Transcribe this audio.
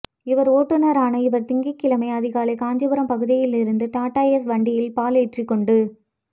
இவா் ஓட்டுநரான இவா் திங்கள்கிழமை அதிகாலை காஞ்சிபுரம் பகுதியில் இருந்து டாடாஏஸ் வண்டியில் பால் ஏற்றிக்கொண்டு